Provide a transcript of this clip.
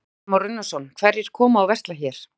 Kristján Már Unnarsson: Hverjir koma og versla hér?